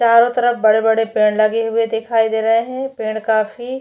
चारो तरफ बड़े-बड़े पेड़ लगे हुए दिखाई दे रहे है पेड़ काफी--